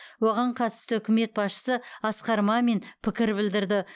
оған қатысты үкімет басшысы асқар мамин пікір білдірді